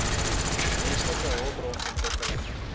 menslike hulpbron ontwikkeling